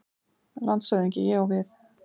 LANDSHÖFÐINGI: Ég á við.